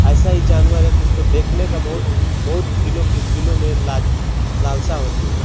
ऐसा इ जानवर है इसको देखने का बहुत बहुत दिलो मे दिलो मे लाज लालशा होती है |